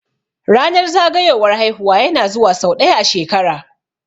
Ranar zagayowar haihuwa ya na zuwa sau ɗaya a shekara